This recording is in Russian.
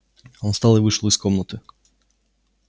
он встал и вышел из комнаты